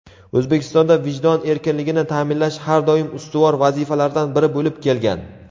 O‘zbekistonda vijdon erkinligini ta’minlash har doim ustuvor vazifalardan biri bo‘lib kelgan.